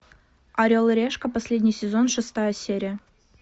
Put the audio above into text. орел и решка последний сезон шестая серия